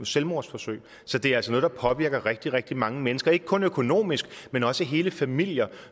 selvmordsforsøg så det er altså noget der påvirker rigtig rigtig mange mennesker ikke kun økonomisk men også hele familier